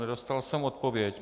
Nedostal jsem odpověď.